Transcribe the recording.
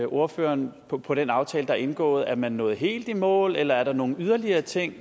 ordføreren på på den aftale der er indgået er man nået helt i mål eller er der nogle yderligere ting